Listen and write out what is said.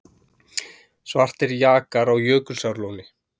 Svartir jakar á Jökulsárlóni